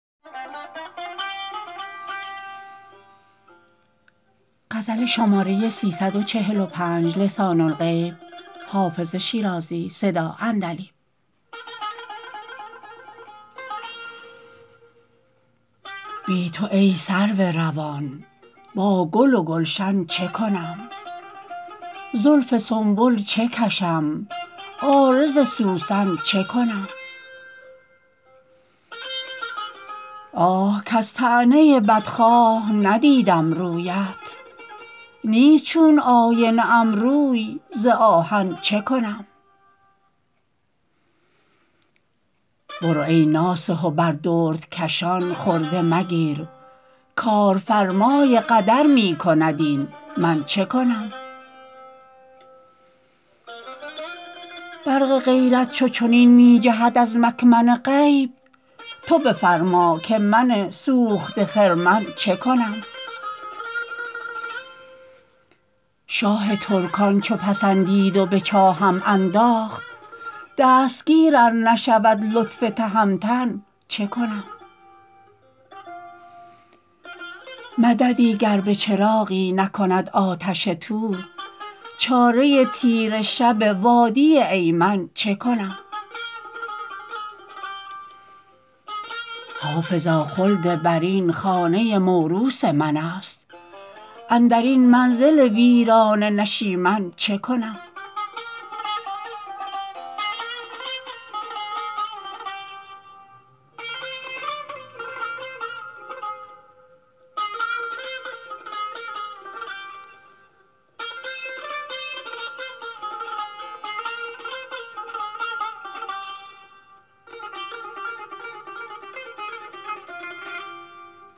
بی تو ای سرو روان با گل و گلشن چه کنم زلف سنبل چه کشم عارض سوسن چه کنم آه کز طعنه بدخواه ندیدم رویت نیست چون آینه ام روی ز آهن چه کنم برو ای ناصح و بر دردکشان خرده مگیر کارفرمای قدر می کند این من چه کنم برق غیرت چو چنین می جهد از مکمن غیب تو بفرما که من سوخته خرمن چه کنم شاه ترکان چو پسندید و به چاهم انداخت دستگیر ار نشود لطف تهمتن چه کنم مددی گر به چراغی نکند آتش طور چاره تیره شب وادی ایمن چه کنم حافظا خلدبرین خانه موروث من است اندر این منزل ویرانه نشیمن چه کنم